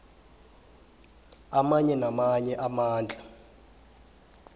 amanye namanye amandla